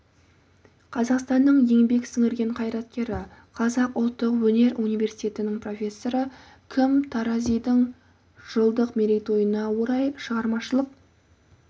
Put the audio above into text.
қазақстанның еңбек сіңірген қайраткері қазақ ұлттық өнер университетінің профессоры кім таразидың жылдық мерейтойына орай шығармашылық